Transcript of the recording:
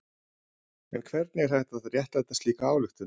En hvernig er hægt að réttlæta slíka ályktun?